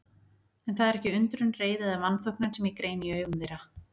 En það er ekki undrun, reiði eða vanþóknun sem ég greini í augum þeirra.